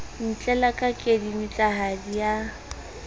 o ntlela ka kedibitlahadi ya